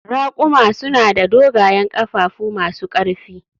Raƙuma suna da dogayen ƙafafu masu ƙarfi